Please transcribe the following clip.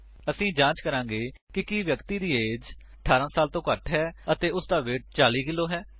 ਅਸੀ ਜਾਂਚ ਕਰਾਂਗੇ ਕਿ ਕੀ ਵਿਅਕਤੀ ਦੀ ਏਜ 18 ਸਾਲ ਵਲੋਂ ਘੱਟ ਹੈ ਅਤੇ ਵੇਟ ਹੇਠਲਾ 40 ਕੇਜੀ ਹੈ